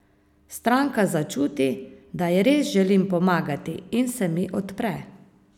Stranka začuti, da ji res želim pomagati, in se mi odpre.